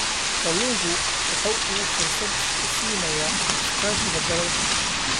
Kalluunku waxa uu fursad u siinayaa iskaashiga dalalka.